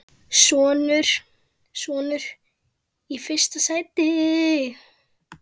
Sonur: Í fyrsta sæti.